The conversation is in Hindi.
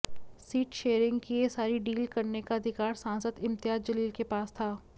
सीट शेयरिंग की यह सारी डील करने का अधिकार सांसद इम्तियाज जलील के पास था